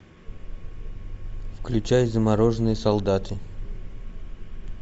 включай замороженные солдаты